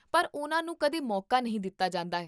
ਪਰ ਉਨ੍ਹਾਂ ਨੂੰ ਕਦੇ ਮੌਕਾ ਨਹੀਂ ਦਿੱਤਾ ਜਾਂਦਾ ਹੈ